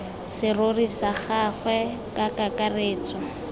serori sa gagwe ka kakaretso